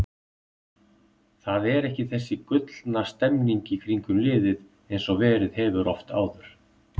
Það er ekki þessi gullna stemning í kringum liðið eins og verið hefur oft áður.